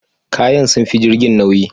Kayan sun fi jirgin nauyi